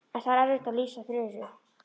En það er erfitt að lýsa Þuru.